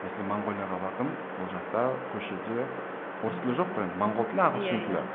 мәселе монголияға бардым ол жақта көшеде орыс тілі жоқ қой енді монғол тілі ағылшын тілі